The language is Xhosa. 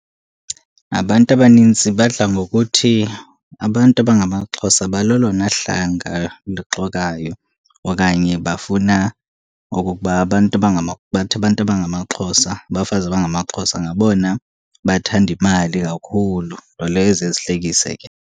Abantu abanintsi badla ngokuthi abantu abangamaXhosa balelona hlanga luxokayo, okanye bafuna okokuba abantu, bathi abantu abangamaXhosa, abafazi abangamaXhosa ngabona bathanda imali kakhulu. Nto leyo eziye zihlekise ke.